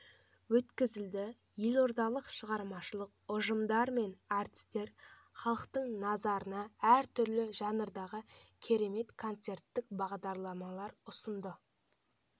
өткізілді елордалық шығармашылық ұжымдар мен артистер халықтың назарына әр түрлі жанрдағы керемет концерттік бағдарламалар ұсынды